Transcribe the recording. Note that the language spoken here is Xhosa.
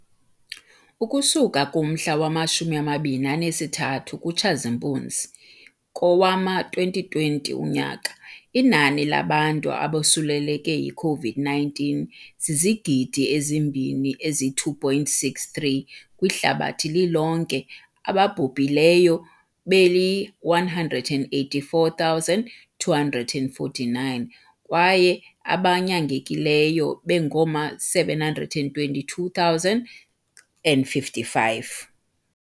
Ukusuka kumhla wama-23 kuTshazimpunzi kowama-2020, inani labantu abosuleleke yiCOVID-19 zizigidi ezi-2.63 kwihlabathi lilonke, ababhubhileyo beli-184,249 kwaye abanyangekileyo bengama-722,055.